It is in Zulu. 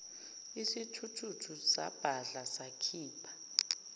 isithuthuthu sabhadla sakhipha